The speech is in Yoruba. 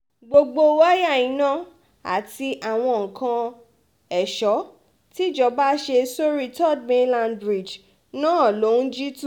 gbogbo wáyà iná àti àwọn nǹkan èso tìjọba ṣe sórí third mainland bridge náà ló ń jí tu